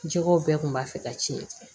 Jɛgɛw bɛɛ kun b'a fɛ ka ci